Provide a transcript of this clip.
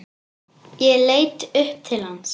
Ég leit upp til hans.